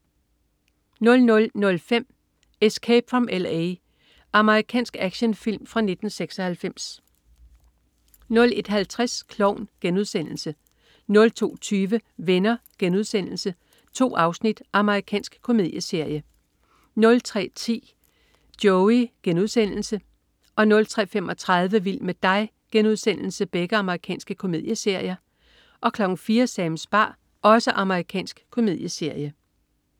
00.05 Escape from L.A. Amerikansk actionfilm fra 1996 01.50 Klovn* 02.20 Venner.* 2 afsnit. Amerikansk komedieserie 03.10 Joey.* Amerikansk komedieserie 03.35 Vild med dig.* Amerikansk komedieserie 04.00 Sams bar. Amerikansk komedieserie